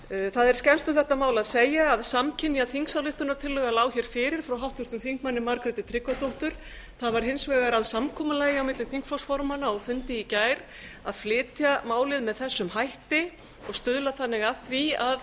það er skemmst um þetta mál að segja að samkynja þingsályktunartillaga lá hér fyrir frá háttvirtum þingmanni margréti tryggvadóttur það varð hins vegar að samkomulagi á milli þingflokksformanna á fundi í gær að flytja málið með þessum hætti og stuðla þannig að því að